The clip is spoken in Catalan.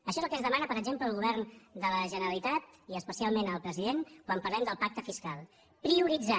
això és el que ens demana per exemple el govern de la generalitat i especialment el president quan parlem del pacte fiscal prioritzar